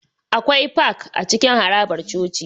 Akwai Park a cikin harabar coci